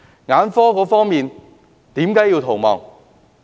眼科醫生為何要逃亡？